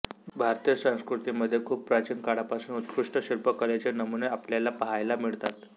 भारतीय संस्कृतीमध्ये खूप प्राचीन काळापासून उत्कृष्ट शिल्पकलेचे नमुने आपल्याला पाहायला मिळतात